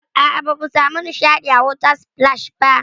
A'a, bamu samu nishaɗi a water splash ba.